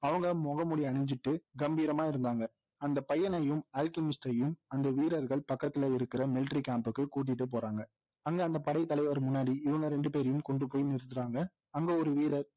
அவங்க முக மூடி அணிஞ்சுட்டு கம்பீரமா இருந்தாங்க அந்த பையனையும் அல்கெமிஸ்ட்டையும் அந்த வீரர்கள் பக்கத்துல இருக்கிற military camp க்கு கூட்டிட்டு போறாங்க அங்க அந்த படை தலைவர் முன்னாடி இவங்க ரெண்டுபேரையும் கொண்டு போய் நிறுத்துறாங்க அங்க ஒரு வீரர்